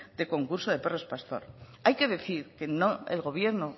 de concurso de perros pastor hay que decir que el gobierno